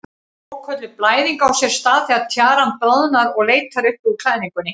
Svokölluð blæðing á sér stað þegar tjaran bráðnar og leitar upp úr klæðingunni.